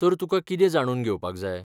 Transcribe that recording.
तर तुकां कितें जाणून घेवपाक जाय?